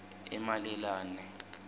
emalelane